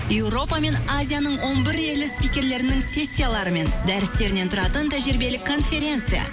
еуропа мен азияның он бір елі спикерлерінің сессиялары мен дәрістерінен тұратын тәжірибелік конференция